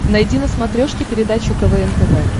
найди на смотрешке передачу квн тв